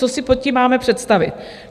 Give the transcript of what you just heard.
Co si pod tím máme představit?